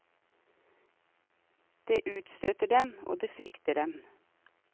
Det utstøter dem, og det frykter dem.